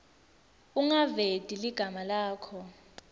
ungaveti ligama lakho